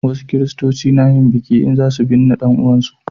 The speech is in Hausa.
wasu kiristoci na yin biki in za su binne dan uwan su